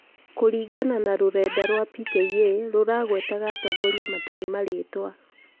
kũringana na rũrenda rwa PKA , rũragwetaga atongoria matarĩ marĩĩtwa.